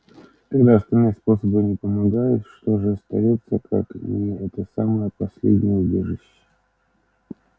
когда остальные способы не помогают что же остаётся как не это самое последнее убежище